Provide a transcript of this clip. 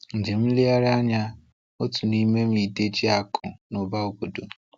Njem nlegharị anya - otu nime m idé ji akụ na ụba obodo.